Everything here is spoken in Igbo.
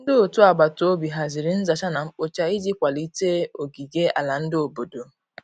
Ndi ọtụ agbatobi hazịrị nza cha na nkpo cha iji kwalite ogige ala ndi obodo